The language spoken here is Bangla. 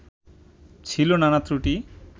ছিল নানা ত্রুটি